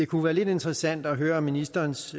kunne være lidt interessant at høre ministerens